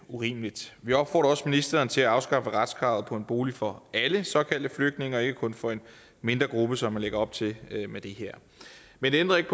urimelig vi opfordrer også ministeren til at afskaffe retskravet på en bolig for alle såkaldte flygtninge og ikke kun for en mindre gruppe som man lægger op til med det her men det ændrer ikke